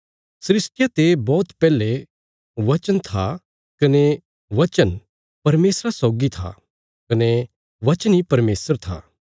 सृष्टिया ते बौहत पैहले बचन था कने बचन परमेशरा सौगी था कने बचन इ परमेशर था